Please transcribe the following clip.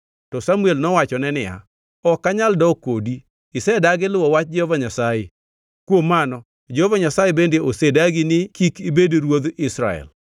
To Samuel nowachone niya, “Ok anyal dok kodi. Isedagi luwo wach Jehova Nyasaye, kuom mano Jehova Nyasaye bende osedagi ni kik ibed ruodh Israel!”